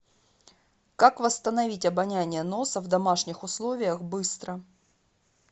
как восстановить обоняние носа в домашних условиях быстро